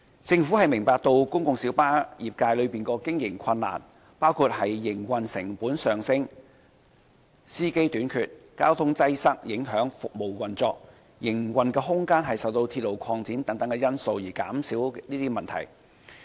政府明白公共小巴業界的經營困難，包括營運成本上升、司機短缺、交通擠塞影響服務運作，以及營運空間受到鐵路擴展等因素而減少等問題。